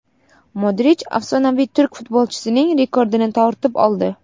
Modrich afsonaviy turk futbolchisining rekordini tortib oldi.